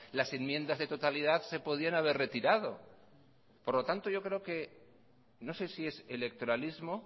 las enmiendas de totalidad se podían haber retirado por lo tanto yo creo que no sé si es electoralismo